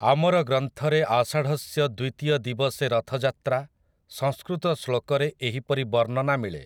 ଆମର ଗ୍ରନ୍ଥରେ ଆଷାଢ଼ସ୍ୟ ଦ୍ୱିତୀୟ ଦିବସେ ରଥଯାତ୍ରା, ସଂସ୍କୃତ ଶ୍ଳୋକରେ ଏହିପରି ବର୍ଣ୍ଣନା ମିଳେ ।